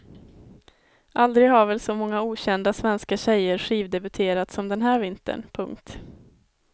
Aldrig har väl så många okända svenska tjejer skivdebuterat som den här vintern. punkt